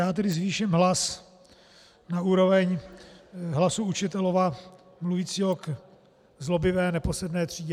Já tedy zvýším hlas na úroveň hlasu učitele mluvícího k zlobivé neposedné třídě.